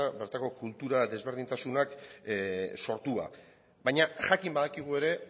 bertako kultura desberdintasunak sortua baina jakin badakigu ere